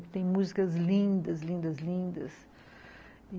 Que tem músicas lindas, lindas, lindas.